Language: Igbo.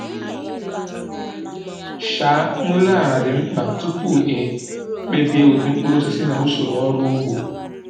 um Nlele ala dị mkpa tupu e kpebie ụdị mkpụrụosisi na usoro ọrụ ugbo.